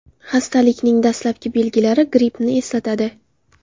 Xastalikning dastlabki belgilari grippni eslatadi.